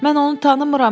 Mən onu tanımıram.